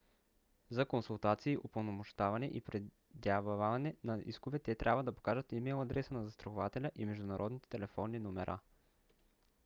за консултации/упълномощаване и предявяване на искове те трябва да покажат имейл адреса на застрахователя и международните телефонни номера